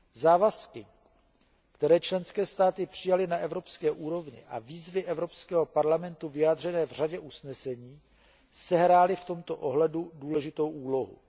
Závazky, které členské státy přijaly na evropské úrovni, a výzvy Evropského parlamentu vyjádřené v řadě usnesení sehrály v tomto ohledu důležitou úlohu.